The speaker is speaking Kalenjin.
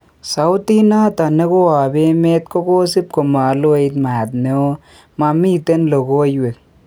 Sautit nato nekoap emet kokosip komaloit maat neo, mamiten logowek